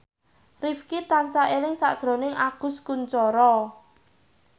Rifqi tansah eling sakjroning Agus Kuncoro